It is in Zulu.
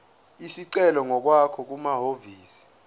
isicelo ngokwakho kumahhovisi